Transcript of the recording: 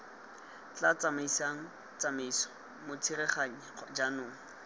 tla tsamaisang tsamaiso motsereganyi jaanong